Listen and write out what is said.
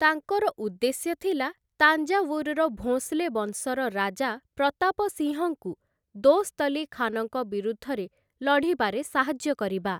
ତାଙ୍କର ଉଦ୍ଦେଶ୍ୟ ଥିଲା ତାଞ୍ଜାୱୁରର ଭୋଁସଲେ ବଂଶର ରାଜା ପ୍ରତାପ ସିଂହଙ୍କୁ ଦୋସ୍ତ ଅଲ୍ଲୀ ଖାନଙ୍କ ବିରୁଦ୍ଧରେ ଲଢ଼ିବାରେ ସାହାଯ୍ୟ କରିବା ।